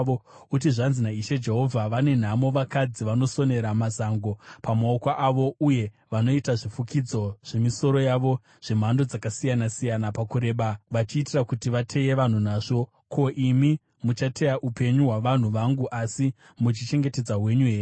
uti, ‘Zvanzi naIshe Jehovha: Vane nhamo vakadzi vanosonera mazango pamaoko avo uye vanoita zvifukidzo zvemisoro yavo zvemhando dzakasiyana-siyana pakureba vachiitira kuti vateye vanhu nazvo. Ko, imi muchateya upenyu hwavanhu vangu asi muchichengetedza hwenyu here?